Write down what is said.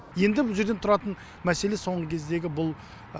енді бұл жерден тұратын мәселе соңғы кездегі бұл